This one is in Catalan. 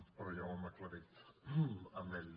però ja ho hem aclarit amb ell